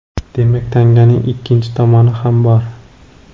Demak, tanganing ikkinchi tomoni ham bor.